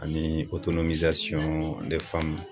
Ani